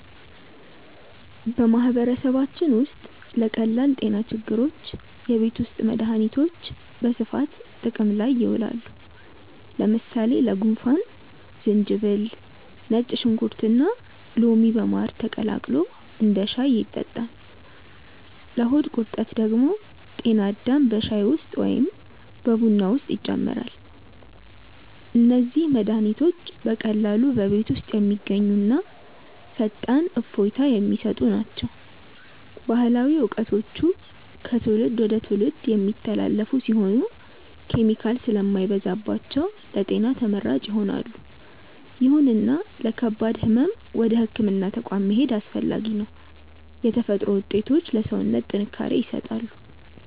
በማህበረሰባችን ውስጥ ለቀላል ጤና ችግሮች የቤት ውስጥ መድሃኒቶች በስፋት ጥቅም ላይ ይውላሉ። ለምሳሌ ለጉንፋን ዝንጅብል፣ ነጭ ሽንኩርትና ሎሚ በማር ተቀላቅሎ እንደ ሻይ ይጠጣል። ለሆድ ቁርጠት ደግሞ ጤና አዳም በሻይ ወይም በቡና ውስጥ ይጨመራል። እነዚህ መድሃኒቶች በቀላሉ በቤት ውስጥ የሚገኙና ፈጣን እፎይታ የሚሰጡ ናቸው። ባህላዊ እውቀቶቹ ከትውልድ ወደ ትውልድ የሚተላለፉ ሲሆኑ፣ ኬሚካል ስለማይበዛባቸው ለጤና ተመራጭ ይሆናሉ። ይሁንና ለከባድ ህመም ወደ ህክምና ተቋም መሄድ አስፈላጊ ነው። የተፈጥሮ ውጤቶች ለሰውነት ጥንካሬ ይሰጣሉ።